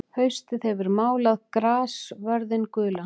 Haustið hefur málað grassvörðinn gulan.